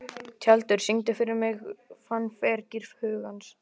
Tjaldur, syngdu fyrir mig „Fannfergi hugans“.